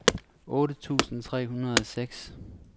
otte tusind tre hundrede og seks